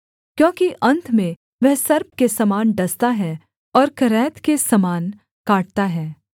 क्योंकि अन्त में वह सर्प के समान डसता है और करैत के समान काटता है